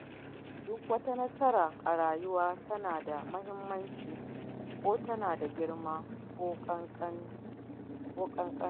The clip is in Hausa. Duk wata nasara a rayuwa tana da muhimmanci, ko tana da girma ko ƙankanta.